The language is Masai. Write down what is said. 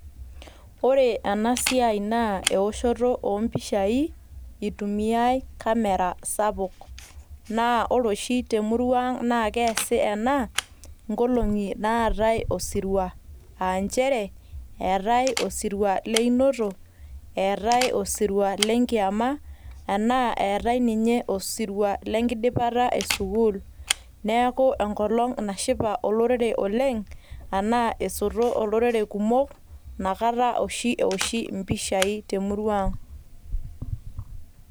Ore ena siai naa ewoshoto oo mpishai etumiai kamera sapuk, ore temurua ang' naa keasi ena ing'olong'i naatae osirua aa nchere eeetae osirua leinoto, eetae osirua lenkiyama, eetae ninye osirua lengidipata esukuul. Neaku enkolong' eshipa olorere oleng' aashu enkolong' nasoto olorere kumok nakata oshi ewoshi empishai temurua ang'.